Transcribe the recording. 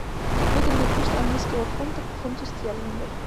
выгодный курс английского фунта к фунту стерлингов